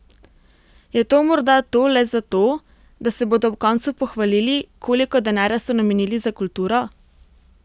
Je to morda to le zato, da se bodo ob koncu pohvalili, koliko denarja so namenili za kulturo?